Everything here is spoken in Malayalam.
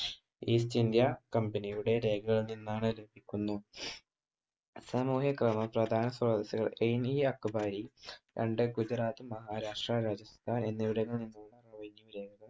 ഈസ്റ്റ് ഇന്ത്യ കമ്പനിയുടെ രേഖകളിൽ നിന്നാണ് എ ഇ അക്ബാരി തൻ്റെ ഗുജറാത്ത് മഹാരാഷ്ട്ര രാജസ്ഥാൻ എന്നിവിടങ്ങളിൽ നിന്ന്